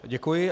Děkuji.